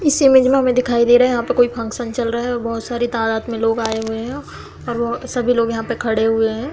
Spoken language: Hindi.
इस इमेज में हमें दिखाई दे रहा है की कोई फंक्शन हो रहा है। बड़े-बड़े धर्मात्य लोग आए हुए है और सभी लोग वहां पर खड़े हुए है।